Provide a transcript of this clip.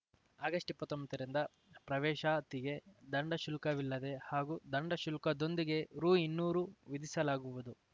August ಇಪ್ಪತ್ತೊಂಬತ್ತರಿಂದ ಪ್ರವೇಶಾತಿಗೆ ದಂಡ ಶುಲ್ಕವಿಲ್ಲದೆ ಹಾಗೂ ದಂಡ ಶುಲ್ಕದೊಂದಿಗೆ ರುಇನ್ನೂರು ವಿಧಿಸಲಾಗುವುದು